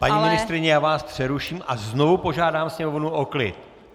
Paní ministryně, já vás přeruším a znovu požádám Sněmovnu o klid.